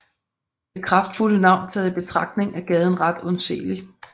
Det kraftfulde navn taget i betragtning er gaden ret undseelig